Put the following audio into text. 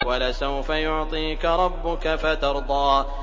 وَلَسَوْفَ يُعْطِيكَ رَبُّكَ فَتَرْضَىٰ